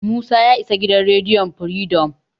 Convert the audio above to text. Musa ya isa gidan rediyon Firidom.